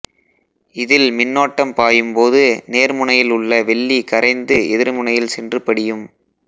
இதில் மின்னோட்டம் பாயும்போது நேர்முனையில் உள்ள வெள்ளி கரைந்து எதிர்முனையில் சென்று படியும்